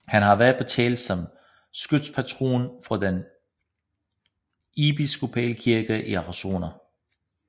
Han har været på tale som skytspatron for den episkopale kirke i Arizona